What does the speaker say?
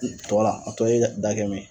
Tɔ la a tɔ ye da ye